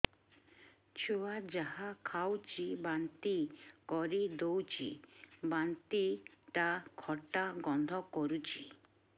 ଛୁଆ ଯାହା ଖାଉଛି ବାନ୍ତି କରିଦଉଛି ବାନ୍ତି ଟା ଖଟା ଗନ୍ଧ କରୁଛି